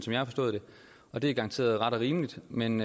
jeg har forstået det og det er garanteret ret og rimeligt men